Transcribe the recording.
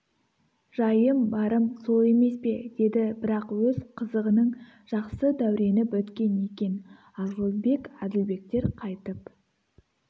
жайым барым сол емес пе деді бірақ өз қызығының жақсы дәурені біткен екен асылбек әділбектер қайтып